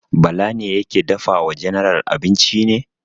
Bala ne yake dafa wa general abinci ne?